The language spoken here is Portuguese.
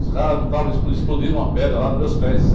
Os caras não estavam explo, explodiram uma pedra lá nos meus pés.